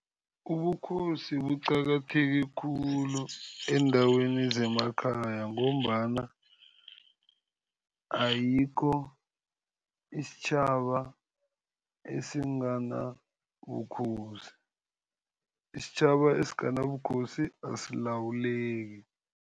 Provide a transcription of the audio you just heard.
Ubukhosi buqakatheke khulu eendaweni zemakhaya ngombana ayikho isitjhaba esinganabukhosi. Isitjhaba esinganabukhosi asilawuleki.